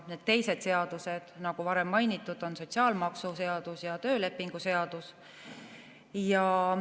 Need teised seadused, nagu varem mainitud, on sotsiaalmaksuseadus ja töölepingu seadus.